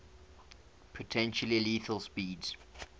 potentially lethal speeds